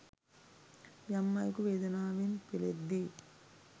යම් අයෙකු වේදනාවෙන් පෙළෙද්දී